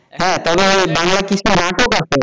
হ্যাঁ তাহলে বাংলা কি পারতো?